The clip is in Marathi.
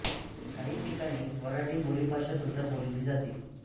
काही ठिकाणी वऱ्हाडी बोली भाषा सुद्धा बोलली जाते